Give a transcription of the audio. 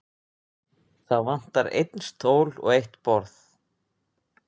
Það vantar einn stól og eitt borð.